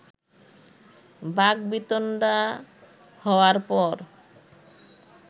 বাকবিতণ্ডা হওয়ার পর